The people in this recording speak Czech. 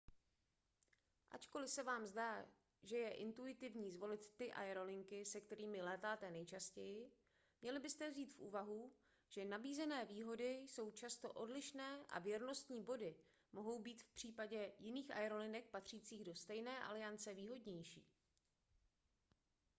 ačkoliv se vám zdá že je intuitivní zvolit ty aerolinky se kterými létáte nejčastěji měli byste vzít v úvahu že nabízené výhody jsou často odlišné a věrnostní body mohou být v případě jiných aerolinek patřících do stejné aliance výhodnější